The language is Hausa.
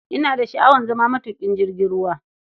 Ina da sha'awar zama matuƙin jirgin ruwa.